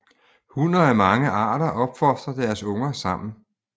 Hunner af mange arter opfostrer deres unger sammen